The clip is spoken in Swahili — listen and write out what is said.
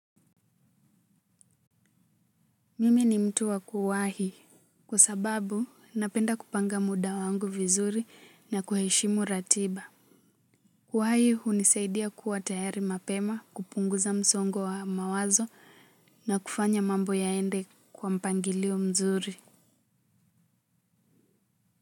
Mimi ni mtu wa kuwahi kwa sababu napenda kupanga muda wangu vizuri na kuheshimu ratiba. Uhai hunisaidia kuwa tayari mapema kupunguza msongo wa mawazo na kufanya mambo yaende kwa mpangilio mzuri.